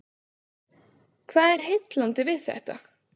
Hvað er heillandi við þetta?